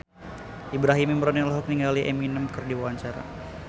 Ibrahim Imran olohok ningali Eminem keur diwawancara